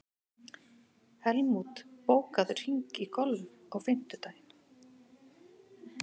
Helmút, bókaðu hring í golf á fimmtudaginn.